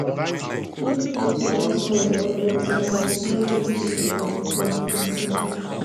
if feed don spoil or get mould no give chicken dem fit sick